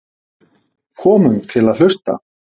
Komum til að hlusta